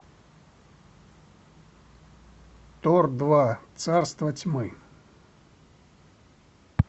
тор два царство тьмы